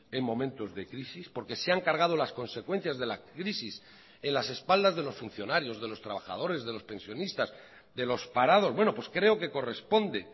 en momentos de crisis porque se han cargado las consecuencias de la crisis en las espaldas de los funcionarios de los trabajadores de los pensionistas de los parados bueno pues creo que corresponde